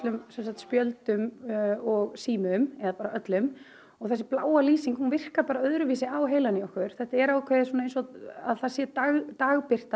spjöldum og símum og þessi bláa lýsing virkar bara öðruvísi á heilann á okkur þetta er eins og það sé dagsbirta